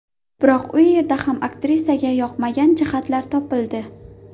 Biroq u yerda ham aktrisaga yoqmagan jihatlar topildi.